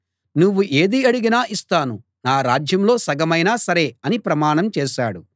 నువ్వు ఏది అడిగినా ఇస్తాను నా రాజ్యంలో సగమైనా సరే అని ప్రమాణం చేశాడు